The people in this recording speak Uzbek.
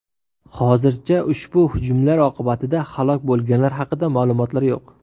Hozircha ushbu hujumlar oqibatida halok bo‘lganlar haqida ma’lumotlar yo‘q.